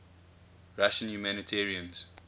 russian humanitarians